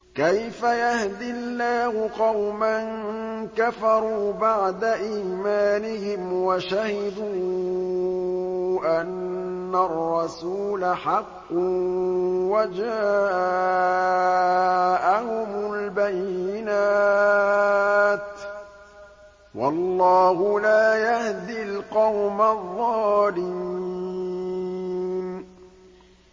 كَيْفَ يَهْدِي اللَّهُ قَوْمًا كَفَرُوا بَعْدَ إِيمَانِهِمْ وَشَهِدُوا أَنَّ الرَّسُولَ حَقٌّ وَجَاءَهُمُ الْبَيِّنَاتُ ۚ وَاللَّهُ لَا يَهْدِي الْقَوْمَ الظَّالِمِينَ